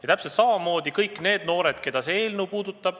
Ja täpselt samamoodi on kõigi nende noortega, keda see eelnõu puudutab.